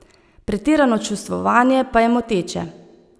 Pretirano čustvovanje pa je moteče.